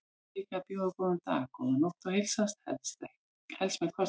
Munum líka að bjóða góðan dag, góða nótt og heilsast, helst með kossi.